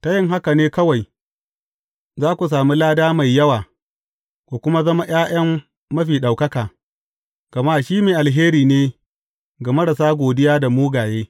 Ta yin haka ne kawai, za ku sami lada mai yawa, ku kuma zama ’ya’yan Mafi Ɗaukaka, gama shi mai alheri ne ga marasa godiya da mugaye.